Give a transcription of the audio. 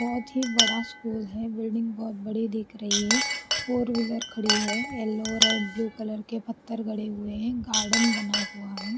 बहुत ही बड़ा स्कूल है बिल्डिंग बहुत बड़ी दिख रही है फोर व्हीलर खड़ी है येलो रेड ब्लू कलर के पत्थर गड़े हुए हैं गार्डन बना हुआ है ।